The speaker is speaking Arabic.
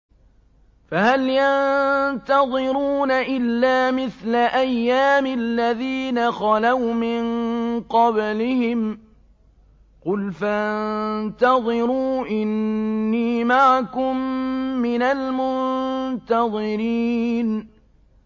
فَهَلْ يَنتَظِرُونَ إِلَّا مِثْلَ أَيَّامِ الَّذِينَ خَلَوْا مِن قَبْلِهِمْ ۚ قُلْ فَانتَظِرُوا إِنِّي مَعَكُم مِّنَ الْمُنتَظِرِينَ